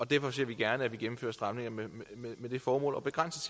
derfor ser vi gerne at der gennemføres stramninger med det formål at begrænse